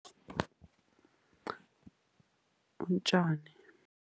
Utjani.